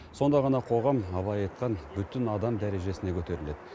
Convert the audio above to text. сонда ғана қоғам абай айтқан бүтін адам дәрежесіне көтеріледі